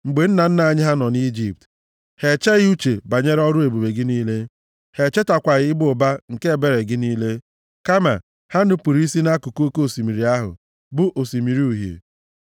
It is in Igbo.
Mgbe nna nna anyị ha nọ nʼIjipt, ha echeghị uche banyere ọrụ ebube gị niile; ha echetakwaghị ịba ụba nke ebere gị niile, kama ha nupuru isi nʼakụkụ oke osimiri ahụ, bụ Osimiri Uhie.